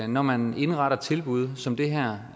når man indretter tilbud som det her